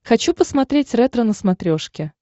хочу посмотреть ретро на смотрешке